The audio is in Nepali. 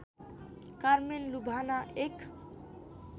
कारमेन लुभाना एक